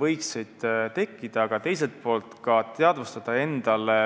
võiksid tekkida, aga teisalt ka teadvustada endale,